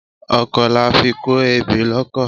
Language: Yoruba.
Ọkó làfí kọ ẹbẹ lòkọ